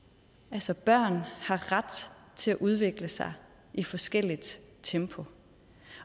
altså børn har ret til at udvikle sig i forskelligt tempo